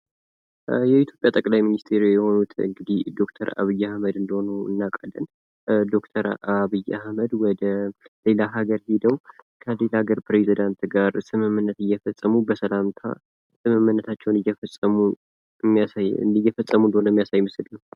የኢትዮጵያ ጠቅላይ ሚንስትር የሆኑት እንግዲህ ዶክተር አብይ አህመድ እንደሆኑ እናውቃለን። ዶክተር አብይ አህመድ ወደ ሌላ ሀገር ሄደው ከሌላ ሀገር ፕረዚዳንት ጋር ስምምነት እየፈጸሙ እንደሆነ የሚያሳይ ምስል ነው።